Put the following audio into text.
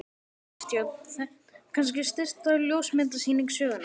Kristján: Þetta er kannski stysta ljósmyndasýning sögunnar?